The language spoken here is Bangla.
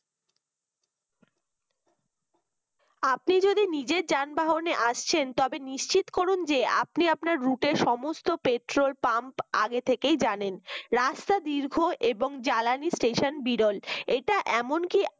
আপনি যদি নিজের যানবহনে আসছেন তবে নিশ্চিত করুন যে আপনি আপনার root র সমস্ত petrol pump আগে থেকেই জানেন রাস্তার দীর্ঘ এবং জ্বালানি স্টেশন বিরল এটা এমনকি